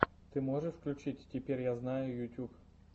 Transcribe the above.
ты можешь включить теперь я знаю ютуб